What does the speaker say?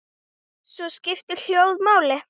Og svo skiptir hljóðið máli.